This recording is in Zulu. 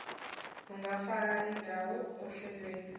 ungafaka indawo ohlelweni